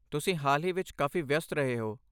ਤੁਸੀਂ ਹਾਲ ਹੀ ਵਿੱਚ ਕਾਫ਼ੀ ਵਿਅਸਤ ਰਹੇ ਹੋ।